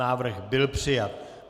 Návrh byl přijat.